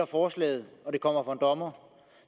forslaget og det kommer for en dommer